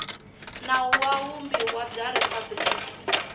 nawu wa vumbiwa bya riphabliki